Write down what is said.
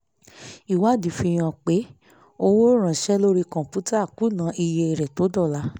ìwádìí fi hàn pé owó ránṣẹ́ lórí kọ̀ǹpútà kùnà iye rẹ̀ tó dọ́là